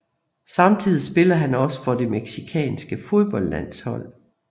Samtidig spiller han også for det mexicanske fodboldlandshold